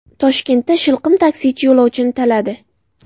Toshkentda shilqim taksichi yo‘lovchini taladi.